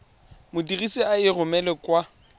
modirisi a e romelang kwa